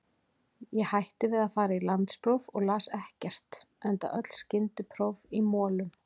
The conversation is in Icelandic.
Ég hætti við að fara í landspróf og las ekkert, enda öll skyndipróf í molum.